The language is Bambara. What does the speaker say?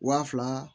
Waa fila